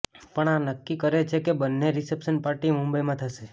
પણ આ નક્કી છે કે બન્નેનો રિસેપ્શન પાર્ટી મુંબઈમાં થશે